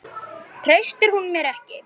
Treysti hún mér ekki?